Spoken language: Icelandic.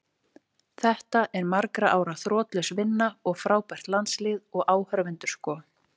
Þetta er margra ára þrotlaus vinna og frábært landslið, og áhorfendur sko.